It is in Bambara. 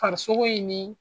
Farisogo in ni